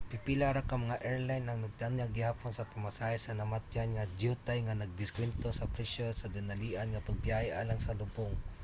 pipila ra ka mga airline ang nagtanyag gihapon sa pamasahe sa namatyan nga dyutay nga nag-diskwento sa presyo sa dinalian nga pagbiyahe alang sa lubong